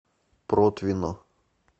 протвино